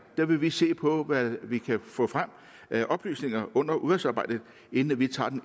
vil vi se på hvad vi kan få frem af oplysninger under udvalgsarbejdet inden vi tager